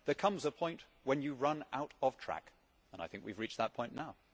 There comes a point when you run out of track, and I think we have reached that point now.